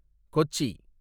Kochi